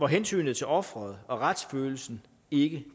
hensynet til offeret og retsfølelsen ikke